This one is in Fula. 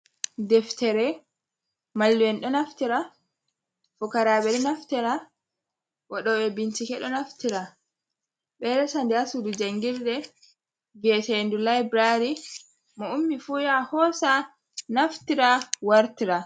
Deftere, mallum'en ɗo naftira, fukaraaɓe ɗo naftira, waɗooɓe bincike ɗo naftira. Ɓe ɗo resa haa suudu janngirde vi'eteendu laaburaari. Mo ummi fuu yaha hoosa naftira wartira.